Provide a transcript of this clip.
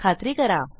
खात्री करा